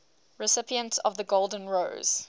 recipients of the golden rose